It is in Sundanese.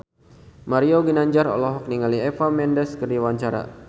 Mario Ginanjar olohok ningali Eva Mendes keur diwawancara